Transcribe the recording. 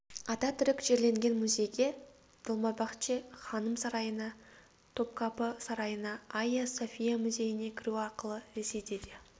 ататүрік жерленген музейге долмабахче ханым сарайына топкапы сарайына айя софия музейіне кіру ақылы ресейде де